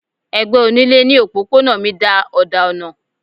Ẹgbẹ onílé ní òpópónà mi da òdà ọ̀nà.